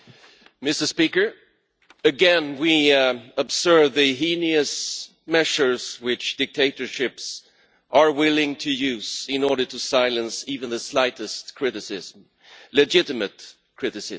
Mr President, again we observe the heinous measures which dictatorships are willing to use in order to silence even the slightest criticism legitimate criticism.